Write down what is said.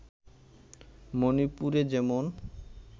মণিপুরে যেমন